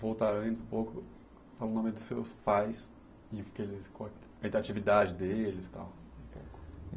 Voltar antes um pouco, fala o nome dos seus pais e o que eles qual é que é a atividade deles tal.